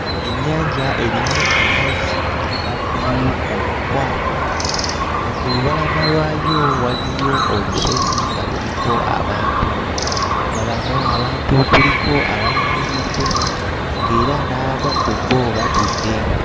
Ennyanja erimu amazzi aga bbululu omukwafu nga ku lubalama lwayo waliyo olusozi nga luliko abantu, nga bano abantu kuliko abayimiridde ng'era n'abamu ku bo batudde.